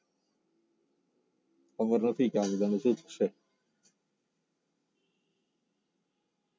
ખબર નથી કે આ બધાનું શું થશે